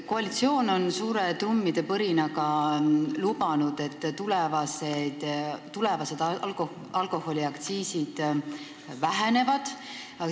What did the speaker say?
Koalitsioon on suure trummipõrinaga lubanud, et tulevased alkoholiaktsiisid vähenevad.